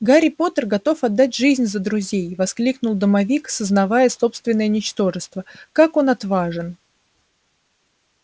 гарри поттер готов отдать жизнь за друзей воскликнул домовик сознавая собственное ничтожество как он отважен